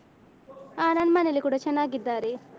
ಅಹ್ ನನ್ಮನೇಲಿ ಕೂಡ ಚೆನ್ನಾಗಿದ್ದಾರೆ.